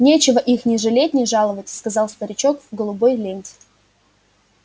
нечего их ни жалеть ни жаловать сказал старичок в голубой ленте